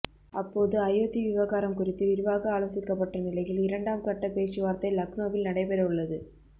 அப்போது அயோத்தி விவகாரம் குறித்து விரிவாக ஆலோசிக்கப்பட்ட நிலையில் இரண்டாம் கட்டப் பேச்சுவார்த்தை லக்னோவில் நடைபெறவுள்ளது